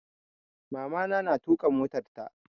Mamana ta na tuƙa motarta